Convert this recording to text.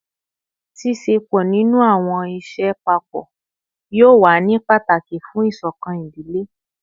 Ṣiṣepọ ninu awọn iṣẹ papọ yoo wa ni pataki fun isokan idile